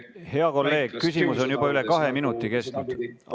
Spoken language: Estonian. Hea kolleeg, küsimus on juba üle kahe minuti kestnud.